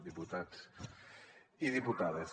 diputats i diputades